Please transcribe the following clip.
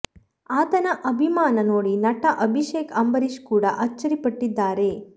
ಆತನ ಅಭಿಮಾನ ನೋಡಿ ನಟ ಅಭಿಷೇಕ್ ಅಂಬರೀಶ್ ಕೂಡ ಅಚ್ಚರಿ ಪಟ್ಟಿದ್ದಾರೆ